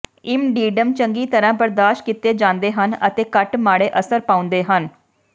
ਇਮਡੀਡਮ ਚੰਗੀ ਤਰ੍ਹਾਂ ਬਰਦਾਸ਼ਤ ਕੀਤੇ ਜਾਂਦੇ ਹਨ ਅਤੇ ਘੱਟ ਮਾੜੇ ਅਸਰ ਪਾਉਂਦੇ ਹਨ